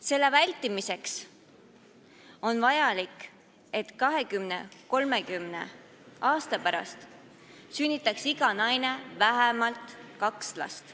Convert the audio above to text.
Selle vältimiseks on vajalik, et 20–30 aasta pärast sünnitaks iga naine vähemalt kaks last.